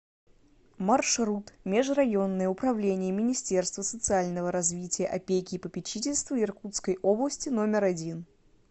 маршрут межрайонное управление министерства социального развития опеки и попечительства иркутской области номер один